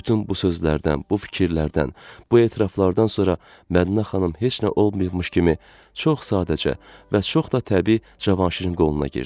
Bütün bu sözlərdən, bu fikirlərdən, bu etiraflardan sonra Mədinə xanım heç nə olmayıbmış kimi çox sadəcə və çox da təbii Cavanşirin qoluna girdi.